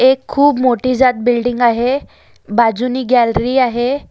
एक खूब मोठी जात बिल्डिंग आहे बाजूनी गॅलरी आहे.